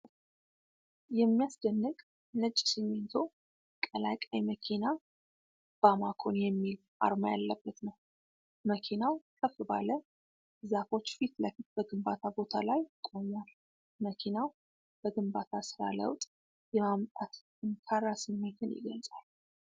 የሚያስደንቅ ነጭ ሲሚንቶ ቀላቃይ መኪና “ባማኮን” የሚል አርማ ያለበት ነው። መኪናው ከፍ ባለ ዛፎች ፊት ለፊት በግንባታ ቦታ ላይ ቆሟል። መኪናው በግንባታ ሥራ ለውጥ የማምጣት ጠንካራ ስሜትን ይገልጻል።